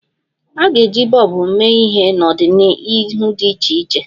A ga-eji bọlbụ mee ihe n'ọdịnihu dị iche iche.